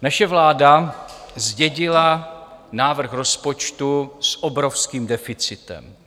Naše vláda zdědila návrh rozpočtu s obrovským deficitem.